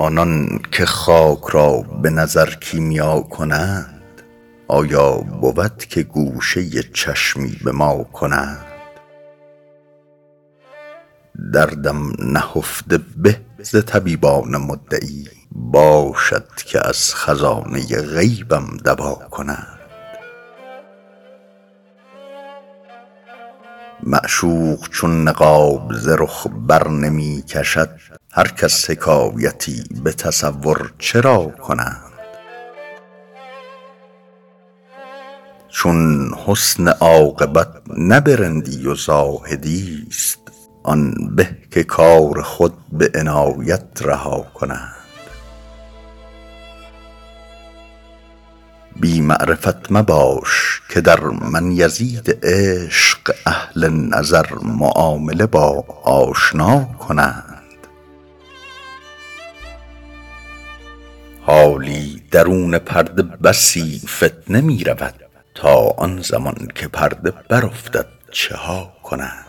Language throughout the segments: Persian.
آنان که خاک را به نظر کیمیا کنند آیا بود که گوشه چشمی به ما کنند دردم نهفته به ز طبیبان مدعی باشد که از خزانه غیبم دوا کنند معشوق چون نقاب ز رخ درنمی کشد هر کس حکایتی به تصور چرا کنند چون حسن عاقبت نه به رندی و زاهدی ست آن به که کار خود به عنایت رها کنند بی معرفت مباش که در من یزید عشق اهل نظر معامله با آشنا کنند حالی درون پرده بسی فتنه می رود تا آن زمان که پرده برافتد چه ها کنند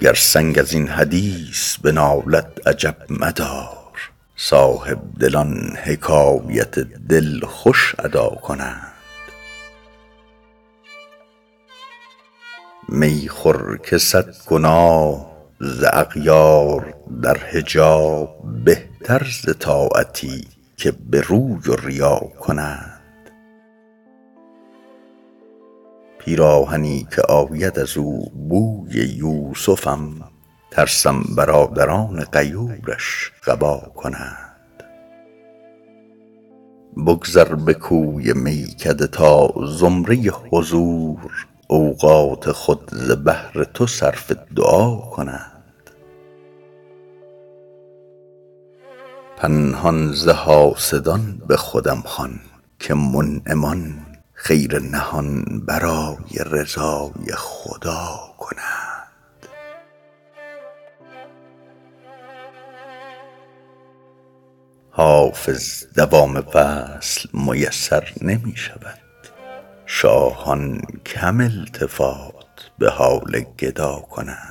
گر سنگ از این حدیث بنالد عجب مدار صاحبدلان حکایت دل خوش ادا کنند می خور که صد گناه ز اغیار در حجاب بهتر ز طاعتی که به روی و ریا کنند پیراهنی که آید از او بوی یوسفم ترسم برادران غیورش قبا کنند بگذر به کوی میکده تا زمره حضور اوقات خود ز بهر تو صرف دعا کنند پنهان ز حاسدان به خودم خوان که منعمان خیر نهان برای رضای خدا کنند حافظ دوام وصل میسر نمی شود شاهان کم التفات به حال گدا کنند